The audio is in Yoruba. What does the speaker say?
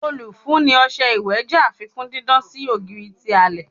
Olufunni ọṣẹ iwẹ jẹ afikun didan si ogiri ti alẹ